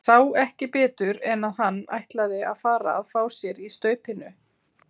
Sá ekki betur en að hann ætlaði að fara að fá sér í staupinu!